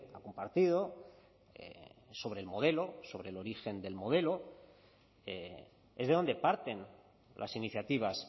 ha compartido sobre el modelo sobre el origen del modelo es de donde parten las iniciativas